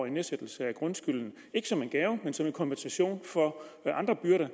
en nedsættelse af grundskylden ikke som en gave men som en kompensation for andre byrder